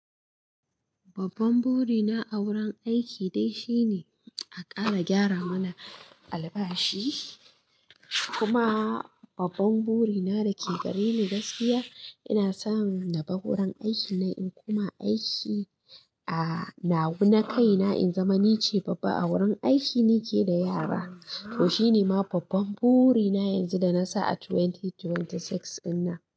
Babban burina a wurin aiki dai shine a ƙara gyara mana albashi kuma babban burina da ke gare ni gaskiya ina so naba wurin aiki nan in kuma aiki a nawa na kaina in zama nice babba a wurin aiki nike da yara. To shine ma babban burina yanzu da nasa a 2026 dinnan.